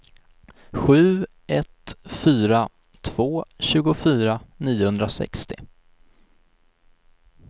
sju ett fyra två tjugofyra niohundrasextio